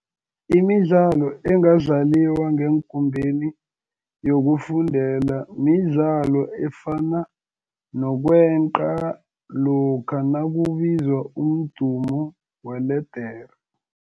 Imidlalo engadlaliwa ngekumbeni yokufundela midlalo efana nokweqa lokha nakubizwa umdumo weledere.